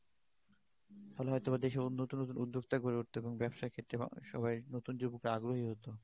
তাহলে হয় তো দেশে নতুন নতুন উদ্যোক্তা গড়ে উঠতো এবং ব্যবসা ক্ষেত্রে সবাই আগ্রহী হত